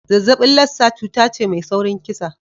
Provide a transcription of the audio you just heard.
Zazzaɓin Lassa cuta ce mai saurin kisa.